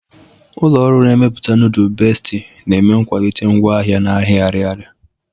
Ọlụ ọrụ na-emeputa nudul Besti na-eme nkwalite ngwa ahia n'ahia Ariaria.